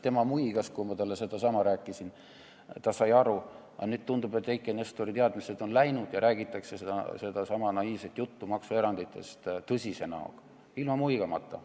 Tema muigas, kui ma talle sedasama rääkisin, ta sai aru, aga nüüd tundub, et Eiki Nestori teadmised on läinud ja sedasama naiivset juttu maksueranditest räägitakse tõsise näoga, ilma muigamata.